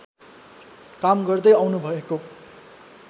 काम गर्दै आउनुभएको